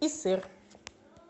и сыр